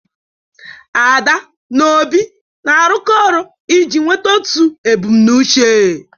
Ada na Obi na-arụkọ ọrụ iji nweta otu ebumnuche.